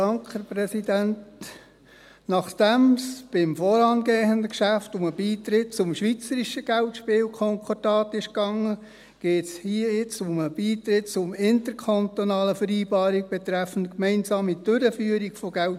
der SiK. Nachdem es beim vorangehenden Geschäft um den Beitritt zum Gesamtschweizerischen Geldspielkonkordat (GSK) ging, geht es hier nun um den Beitritt zur IKV 2020.